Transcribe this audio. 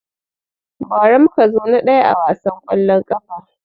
Ba ra mu muka zo na ɗaya a wasan kwallon kafa